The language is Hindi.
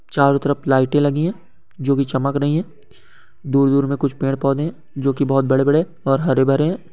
चारो तरफ लाइट ए लगी है जो की चमक रही है दूर-दूर में कुछ पेड़ पौधे है जो की बहुत बड़े-बड़े और हरे भरे है।